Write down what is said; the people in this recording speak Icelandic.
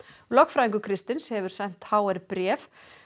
lögfræðingur Kristins hefur sent h r bréf